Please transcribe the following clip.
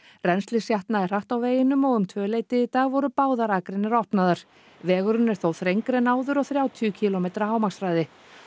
rennslið sjatnaði hratt á veginum og um tvöleytið í dag voru báðar akreinar opnaðar vegurinn er þó þrengri en áður og þrjátíu kílómetra hámarkshraði